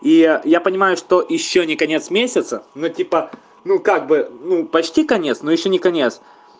и я я понимаю что ещё не конец месяца но типа ну как бы ну почти конец но ещё не конец